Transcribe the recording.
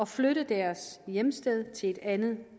flytte deres hjemsted til et andet